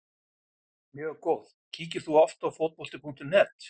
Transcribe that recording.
Mjög góð Kíkir þú oft á Fótbolti.net?